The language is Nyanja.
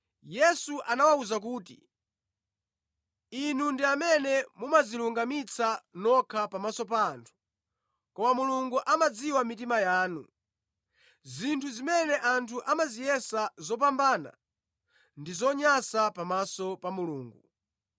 Yesu anawawuza kuti, “Inu ndi amene mumadzilungamitsa nokha pamaso pa anthu, koma Mulungu amadziwa mitima yanu. Zinthu zimene anthu amaziyesa zopambana, ndi zonyansa pamaso pa Mulungu.